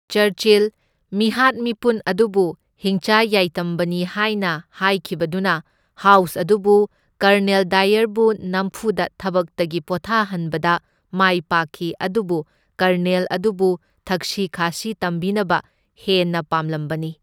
Churchill, ꯃꯤꯍꯥꯠ ꯃꯤꯄꯨꯟ ꯑꯗꯨꯕꯨ ꯍꯤꯡꯆꯥ ꯌꯥꯏꯇꯝꯕꯅꯤ ꯍꯥꯢꯅ ꯍꯥꯏꯈꯤꯕꯗꯨꯅ ꯍꯥꯎꯁ ꯑꯗꯨꯕꯨ ꯀꯔꯅꯦꯜ ꯗꯥꯏꯌꯔꯕꯨ ꯅꯝꯐꯨꯗ ꯊꯕꯛꯇꯒꯤ ꯄꯣꯊꯥꯍꯟꯕꯗ ꯃꯥꯢ ꯄꯥꯛꯈꯤ ꯑꯗꯨꯕꯨ ꯀꯔꯅꯦꯜ ꯑꯗꯨꯕꯨ ꯊꯛꯁꯤ ꯈꯥꯁꯤ ꯇꯝꯕꯤꯅꯕ ꯍꯦꯟꯅ ꯄꯥꯝꯂꯝꯕꯅꯤ꯫